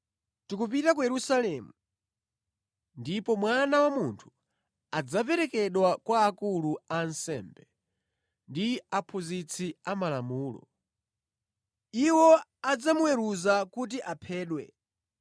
“Tikupita ku Yerusalemu, ndipo Mwana wa Munthu adzaperekedwa kwa akulu a ansembe ndi aphunzitsi amalamulo. Iwo adzamuweruza kuti aphedwe,